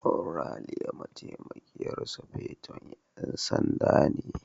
Ralia Mataimakiyar Sufeto na 'Yan Sanda ce.